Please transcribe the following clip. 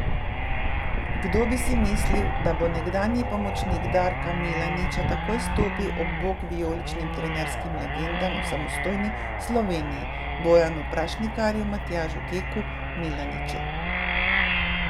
Kdo bi si misli, da bo nekdanji pomočnik Darka Milaniča takoj stopil ob bok vijoličnim trenerskim legendam v samostojni Sloveniji, Bojanu Prašnikarju, Matjažu Keku, Milaniču.